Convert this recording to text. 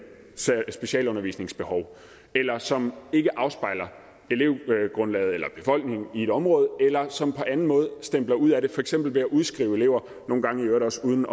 specialundervisningsbehov eller som ikke afspejler befolkningen i et område eller som på anden måde stempler ud af det for eksempel ved at udskrive elever nogle gange i øvrigt også uden